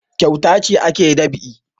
Kyauta ce ake dab'i